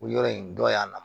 O yɔrɔ in dɔ y'a la